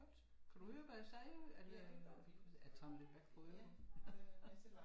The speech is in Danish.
Kunne du høre hvad jeg sagde at øh jeg tager den lidt væk fra øret